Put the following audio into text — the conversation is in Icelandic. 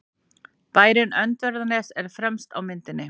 Bærinn Öndverðarnes er fremst á myndinni.